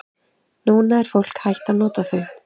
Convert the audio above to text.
Núna er fólk hætt að nota þau.